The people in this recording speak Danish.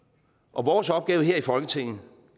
og vores opgave her i folketinget